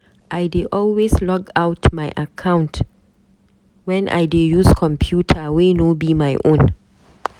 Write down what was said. I dey always log out my account when I dey use computer wey no be my own.